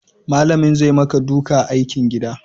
Malamin zai maka duka aikin gidan